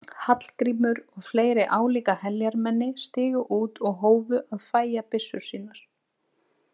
Hallgrímur og fleiri álíka heljarmenni stigu út og hófu að fægja byssur sínar.